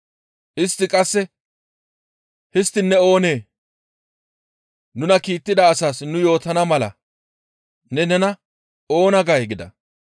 Istti qasse, «Histtiin ne oonee? Nuna kiittida asaas nu yootana mala ne nena oona gay?» gida.